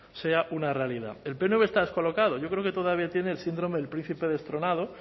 sea una realidad el pnv está descolocado yo creo que todavía tiene el síndrome del príncipe destronado